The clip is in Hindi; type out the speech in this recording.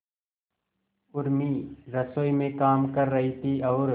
उर्मी रसोई में काम कर रही थी और